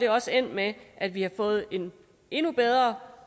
også er endt med at vi har fået en endnu bedre